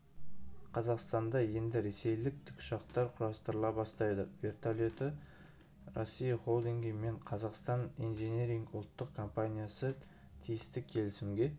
қазақстанда енді ресейлік тікұшақтар құрастырыла бастайды вертолеты россии холдингі мен қазақстан инжиниринг ұлттық компаниясы тиісті келісімге